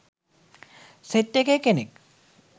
Set එකේ කෙනෙක්.